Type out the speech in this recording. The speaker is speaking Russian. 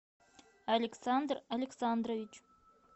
александр александрович